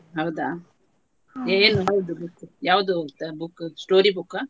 ಹೌದಾ ಏನ್ ಓದೋದು ಯಾವುದು ಓದ್ತಾ ಇರೋದು storybook ಅ.